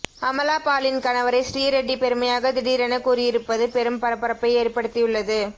அமலாபாலின் கணவரை ஸ்ரீரெட்டி பெருமையாக திடீரென கூறியிருப்பது பெரும் பரபரப்பை ஏற்படுத்தியுள்ளது